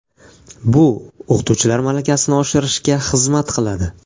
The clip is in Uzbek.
Bu o‘qituvchilar malakasini oshirishga xizmat qiladi.